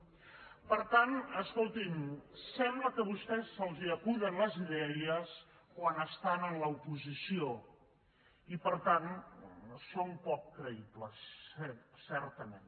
per tant escoltin sembla que a vostès se’ls acuden les idees quan estan a l’oposició i per tant són poc creïbles certament